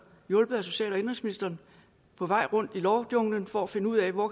hjulpet af social og indenrigsministeren på vej rundt i lovjunglen for at finde ud af hvor